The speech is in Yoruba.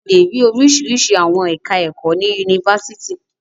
A lè rí oríṣiríṣi àwọn ẹ̀ka-ẹ̀kọ́ ní Yunifásítì.